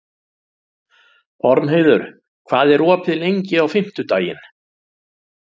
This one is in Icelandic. Ormheiður, hvað er opið lengi á fimmtudaginn?